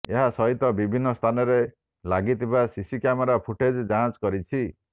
ଏହା ସହିତ ବିଭିନ୍ନ ସ୍ଥାନରେ ଲାଗିଥିବା ସିସି କ୍ୟାମେରା ଫୁଟେଜ୍ ଯାଞ୍ଚ କରିଛି